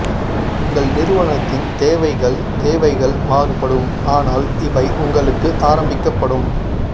உங்கள் நிறுவனத்தின் தேவைகள் தேவைகள் மாறுபடும் ஆனால் இவை உங்களுக்கு ஆரம்பிக்கப்படும்